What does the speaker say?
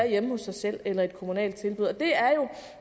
hjemme hos sig selv eller få et kommunalt tilbud det